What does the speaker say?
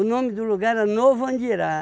O nome do lugar era Novo Andirá.